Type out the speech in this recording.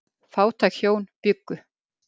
Fátæk hjón bjuggu.